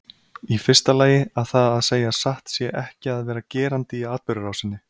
Í fyrsta lagi að það að segja satt sé ekki að vera gerandi í atburðarásinni.